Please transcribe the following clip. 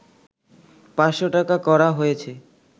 ৫০০ টাকা করা হয়েছে